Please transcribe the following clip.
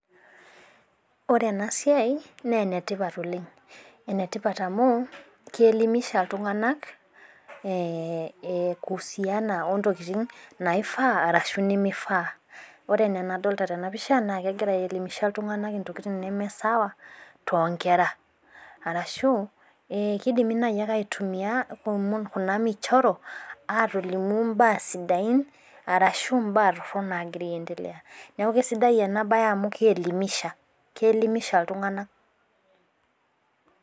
Ore ena siai naa ena tipat oleng. ene tipat amu, keelimisha iltunganak. kulingana ntokitin nimifaa ashu nimifaa. ore anaa enadolita tena pisha naa kegira aelimisha iltunganak ntokitin nimisawa too nkera. arashu kidimi naaji, aitumia Kuna michoro aatolimu mbaa sidain. arashu mbaa torok naagira aendelea. neeku kisidai ena bae amu keelimisha keelimisha iltunganak